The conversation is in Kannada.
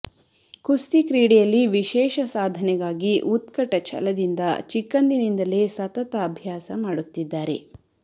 ಕುಸ್ತಿ ಕ್ರೀಡೆಯಲ್ಲಿ ವಿಶೇಷ ಸಾಧನೆಗಾಗಿ ಉತ್ಕಟ ಛಲದಿಂದ ಚಿಕ್ಕಂದಿನಿಂದಲೇ ಸತತ ಅಭ್ಯಾಸ ಮಾಡುತ್ತಿದ್ದಾರೆ